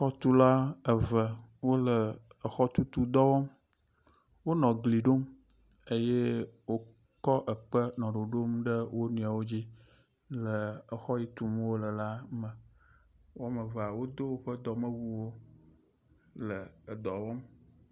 Xɔtula eve wole exɔtutu dɔ wɔm. Wonɔ egli ɖom eye wokɔ ekpe nɔ ɖoɖom ɖe wo nɔewo dzi le exɔ yi tum wole la me. Woamevea wodo woƒe dɔmewuwo le edɔ wɔm.